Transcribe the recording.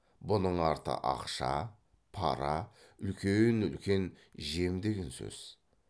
бұның арты ақша пара үлкен үлкен жем деген сөз